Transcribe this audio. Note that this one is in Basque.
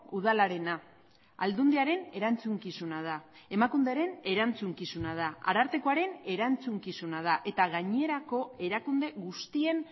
udalarena aldundiaren erantzukizuna da emakunderen erantzukizuna da arartekoaren erantzukizuna da eta gainerako erakunde guztien